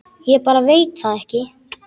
Ég bara veit það ekki.